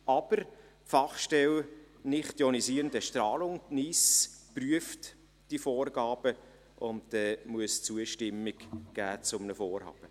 Aber: Die Fachstelle für den Schutz vor nichtionisierender Strahlung (NIS) prüft die Vorgaben und muss zu einem Vorhaben die Zustimmung geben.